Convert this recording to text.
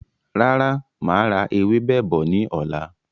Rárá, máa ra ewébẹ̀ bọ̀ ni ọ̀la.